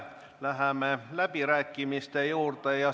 Läheme läbirääkimiste juurde.